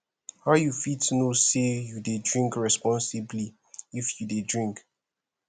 how you fit know say you dey drink responsibly if you dey drink